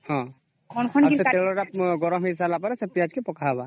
ଆଉ ସେତେବଳେ ତେଲ ଟା ଗର୍ମ ହେଇଗଲା ପରେ ସେ ପିଆଜ କେ ପକା ହେବ